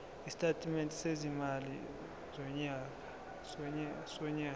isitatimende sezimali sonyaka